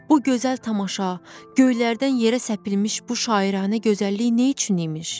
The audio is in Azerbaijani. Bu gözəl tamaşa, göylərdən yerə səpilmiş bu şairənanə gözəllik nə üçün imiş?